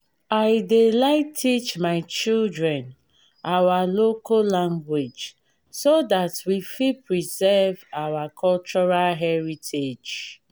i dey like teach my children our local language so that we fit preserve our cultural heritage